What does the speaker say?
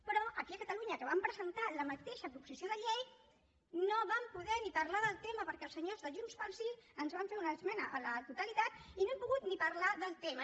però aquí a catalunya que vam presentar la mateixa proposició de llei no vam poder ni parlar del tema perquè els senyors de junts pel sí ens van fer una esmena a la totalitat i no hem pogut ni parlar del tema